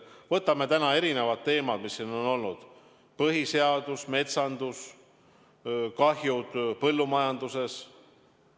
Võtame need erinevad teemad, mis täna siin kõne all on olnud: põhiseadus, metsandus, kahjud põllumajanduses.